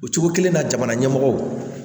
O cogo kelen na jamana ɲɛmɔgɔw